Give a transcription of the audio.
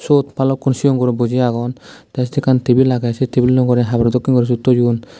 suot balukko cigon guro buji agon te se ekkan tebil agey tebil ano ugure haboro dokken guri siyot toyon.